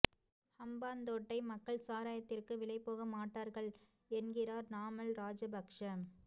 ஹம்பாந்தோட்டை மக்கள் சாராயத்திற்கு விலை போக மாட்டார்கள் என்கிறார் நாமல் ராஜபக்ஸ